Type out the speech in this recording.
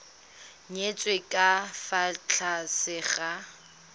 nyetswe ka fa tlase ga